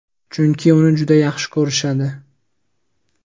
chunki uni juda yaxshi ko‘rishadi.